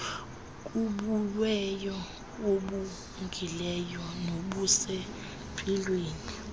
kubuwena obungileyo nobusempilweni